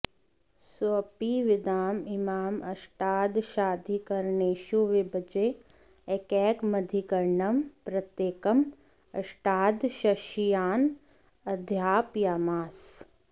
सोऽपि विद्याम् इमाम् अष्टादशाधिकरणेषु विभज्य एकैकमधिकरणं प्रत्येकम् अष्टादशशिष्यान् अध्यापयामास